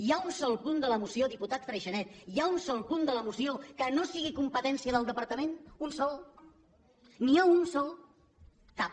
hi ha un sol punt de la moció diputat freixanet hi ha un sol punt de la moció que no sigui competència del departament un de sol n’hi ha un de sol cap